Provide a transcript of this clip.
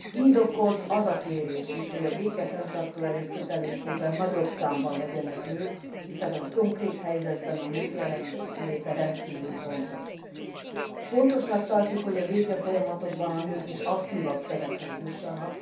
Indokolt az a kérés is, hogy a békefenntartó erők kötelékében nagyobb számban legyenek nők, hiszen a konkrét helyzetben a nők jelenléte rendkívül fontos. Fontosnak tartjuk, hogy a békefolyamatokban a nők is aktívabb szerephez jussanak.